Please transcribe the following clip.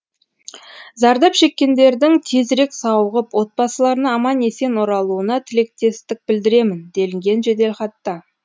зардап шеккендердің тезірек сауығып отбасыларына аман есен оралуына тілектестік білдіремін делінген жеделхатта